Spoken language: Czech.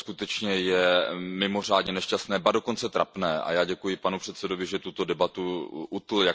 To skutečně je mimořádně nešťastné, ba dokonce trapné a já děkuji panu předsedajícímu, že tuto debatu utnul.